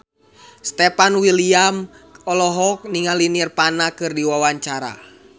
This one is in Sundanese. Stefan William olohok ningali Nirvana keur diwawancara